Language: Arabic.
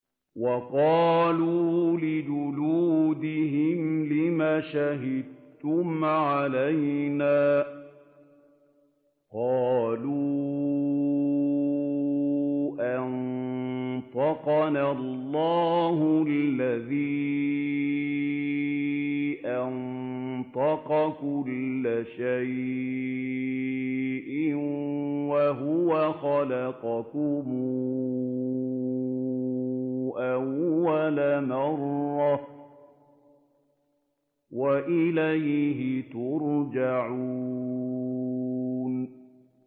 وَقَالُوا لِجُلُودِهِمْ لِمَ شَهِدتُّمْ عَلَيْنَا ۖ قَالُوا أَنطَقَنَا اللَّهُ الَّذِي أَنطَقَ كُلَّ شَيْءٍ وَهُوَ خَلَقَكُمْ أَوَّلَ مَرَّةٍ وَإِلَيْهِ تُرْجَعُونَ